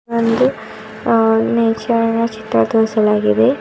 ಒಂದು ಆ ನೇಚರಿನ ಚಿತ್ರ ತೋರಿಸಲಾಗಿದೆ.